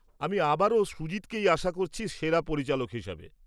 আমি আবারও সুজিতকেই আশা করছি সেরা পরিচালক হিসেবে।